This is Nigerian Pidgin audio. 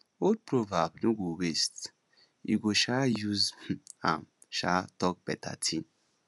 old proverb no go waste we go um use um am um talk beta thing